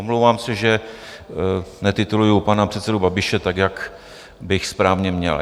Omlouvám se, že netituluji pana předsedu Babiše tak, jak bych správně měl.